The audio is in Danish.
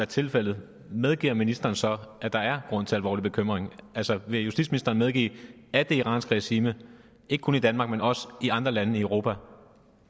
tilfældet medgiver ministeren så at der er grund til alvorlig bekymring altså vil justitsministeren medgive at det iranske regime ikke kun i danmark men også i andre lande i europa